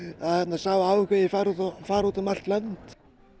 sá áhugi fari út fari út um allt land